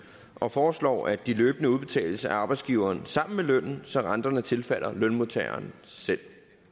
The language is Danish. og foreslår at de løbende udbetales af arbejdsgiveren sammen med lønnen så renterne tilfalder lønmodtageren selv